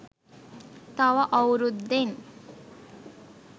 තව අවුරුද්දෙන්.